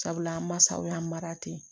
Sabula an mansaw y'an mara ten